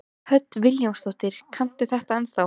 Hödd Vilhjálmsdóttir: Kanntu þetta ennþá?